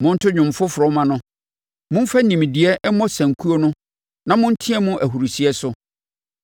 Monto dwom foforɔ mma no. Momfa nimdeɛ mmɔ sankuo no na monteam ahurisie so!